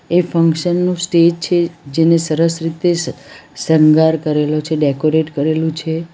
એ function નું stage છે જેને સરસ રીતે સ શૃંગાર કરેલો છે ડેકોરેટ કરેલુ છે.